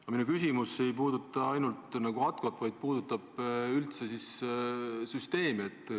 Aga minu küsimus ei puuduta ainult ATKO-t, vaid puudutab üldse süsteemi.